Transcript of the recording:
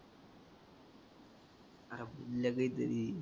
आरं पण तरी.